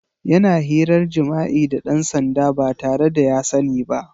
Yana hirar jima'i da ɗan sanda ba tare da ya sani ba.